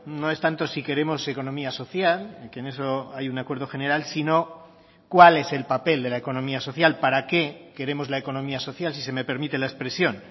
no es tanto si queremos economía social que en eso hay un acuerdo general sino cuál es el papel de la economía social para qué queremos la economía social si se me permite la expresión